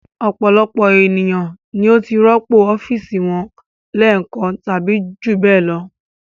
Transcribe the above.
Ọ̀pọ̀ ènìyàn ni ó ti rọ́pò ọ́fíísì wọn lẹ́ẹ̀kan tàbí jù bẹ́ẹ̀ lọ.